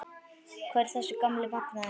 Hvar er þessi gamli magnaði?